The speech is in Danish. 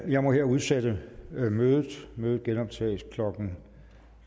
jeg må her udsætte mødet mødet genoptages klokken